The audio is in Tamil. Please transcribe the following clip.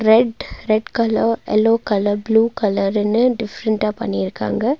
Red red colour yellow colour blue கலருன்னு டிஃப்ரண்டா பண்ணிருக்காங்க.